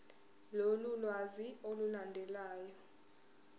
lolu lwazi olulandelayo